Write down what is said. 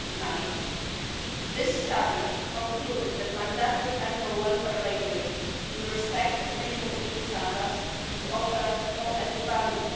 end of 2009. This study concluded that mandatory animal welfare labelling in respect of minimum EU standards would offer no added